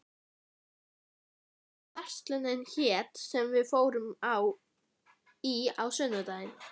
Hildur, manstu hvað verslunin hét sem við fórum í á sunnudaginn?